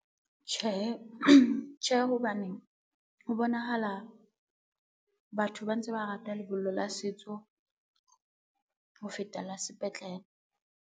Tjhe, hobane ho bonahala batho ba ntse ba rata lebollo la setso ho feta la sepetlele.